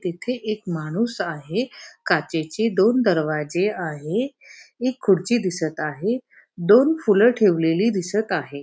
तेथे एक माणूस आहे काचेचे दोन दरवाजे आहे एक खुडची दिसत आहे दोन फुलं ठेवलेली दिसत आहे.